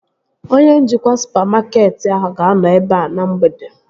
Onye njikwa supamakeetị ahụ ga-anọ ebea na mgbede